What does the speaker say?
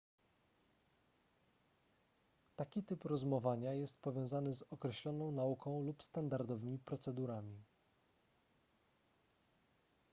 taki typ rozumowania jest powiązany z określoną nauką lub standardowymi procedurami